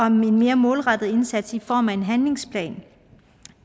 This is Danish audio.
en mere målrettet indsats i form af en handlingsplan